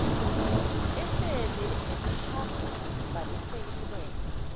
ehleli ephambanise imilenze